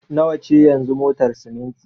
Nawa ce yanzu motar siminti?